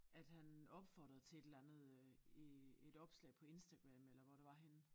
At han opfordrede til et eller andet øh i et opslag på Instagram eller hvor det var henne